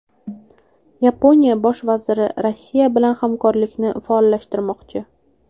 Yaponiya Bosh vaziri Rossiya bilan hamkorlikni faollashtirmoqchi.